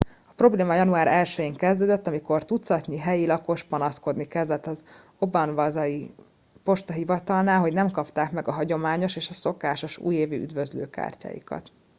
a probléma január 1 én kezdődött amikor tucatnyi helyi lakos panaszkodni kezdett az obanazawai postahivatalnál hogy nem kapták meg a hagyományos és szokásos újévi üdvözlőkártyáikat